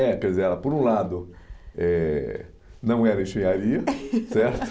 É, pezela por um lado eh não era engenharia certo?